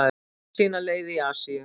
Fann sína leið í Asíu